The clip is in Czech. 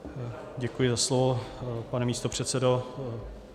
Děkuji za slovo, pane místopředsedo.